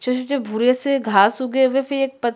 छोटे-छोटे भूरे से घाँस उगे हुए फिर एक पत्ती--